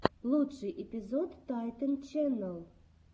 лучший эпизод тайтэн ченнал